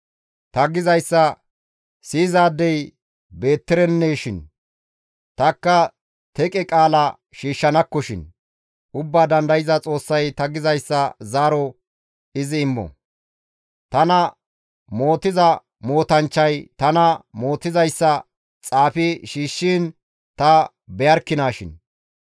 «Ta gizayssa siyizaadey beettereneshin! Tanikka teqe qaala shiishshanakkoshin! Ubbaa Dandayza Xoossay ta gizayssa zaaro izi immo! Tana mootiza mootanchchay tana mootizayssa xaafi shiishshiin ta beyarkinaashin!